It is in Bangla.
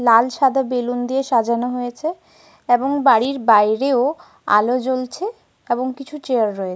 এখানে কিছুক্ষন আগেই সম্ভবত অনুষ্ঠান হয়েছে। তা দেখেই বোঝা যাচ্ছ--